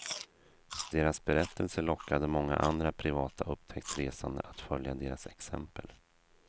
Deras berättelse lockade många andra privata upptäcktsresande att följa deras exempel.